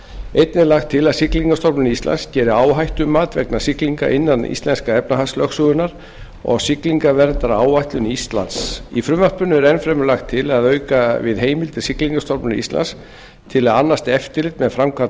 einnig er lagt til að siglingastofnun íslands geri áhættumat vegna siglinga innan íslensku efnahagslögsögunnar og siglingaverndaráætlun íslands í frumvarpinu er enn fremur lagt til að auka við heimildir siglingastofnunar íslands til að annast eftirlit með framkvæmd